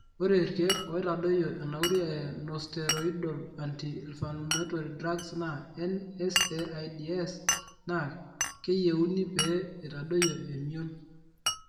Ore irkiek oitadoyio enauri e nosteroidal anti inflammatory drugs naa (NSAIDs) Naa keyiuni pee eitadoyie emion.